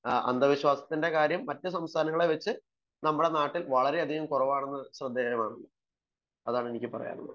അന്ധവിശ്വാസത്തിന്റെ കാര്യം മറ്റു സംസ്ഥാനങ്ങളെ വച്ച് നമ്മുടെ നാട്ടിൽ വളരെയധികം കുറവാണു അതാണ് എനിക്ക് പറയാനുള്ളത്